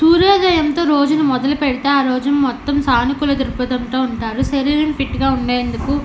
సూర్యోదయంతో రోజును మొదలుపెడితే ఆ రోజు మొత్తం సానుకూల దృక్పదంతో ఉంటారు శరీరం ఫిట్ గా ఉండేందుకు --